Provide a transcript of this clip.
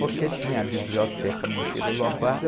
Porque tinha a biblioteca Monteiro Lobato.